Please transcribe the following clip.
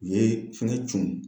U ye fɛngɛ tunun n kan